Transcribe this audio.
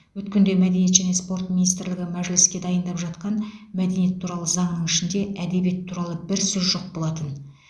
өткенде мәдениет және спорт министрлігі мәжіліске дайындап жатқан мәдениет туралы заңның ішінде әдебиет туралы бір сөз жоқ болатын